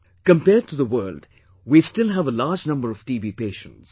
Compared to the world, we still have a large number of TB patients